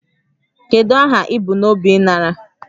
Kedu aha ị bu n'obi ịnara